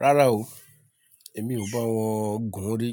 Rárá o, èmi ò bá wọn gùn rí.